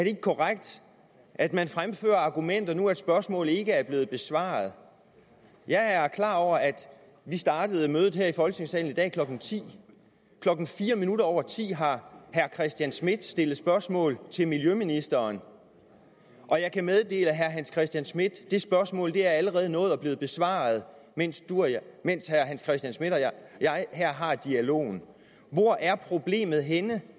ikke korrekt at man fremfører argumenter nu hvor spørgsmålet ikke er blevet besvaret jeg er klar over at vi startede mødet her i folketingssalen i dag klokken tiende klokken fire minutter over ti har herre hans christian schmidt stillet spørgsmål til miljøministeren og jeg kan meddele herre hans christian schmidt det spørgsmål allerede er nået at blive besvaret mens mens herre hans christian schmidt og jeg her har dialogen hvor er problemet henne